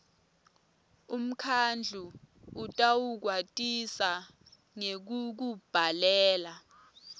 umkhandlu utawukwatisa ngekukubhalela